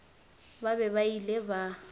ba be ba ile ba